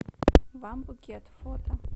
вам букет фото